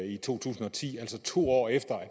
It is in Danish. i to tusind og ti altså to år efter at